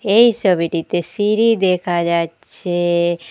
এই সবিটিতে সিঁড়ি দেখা যাচ্ছে।